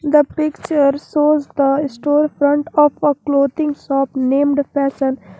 the picture shows the store front of a clothing shop named fashion.